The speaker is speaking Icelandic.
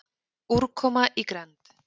Úrkoma í grennd.